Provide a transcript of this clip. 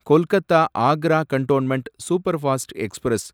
Kolkata Agra cantonment superfast express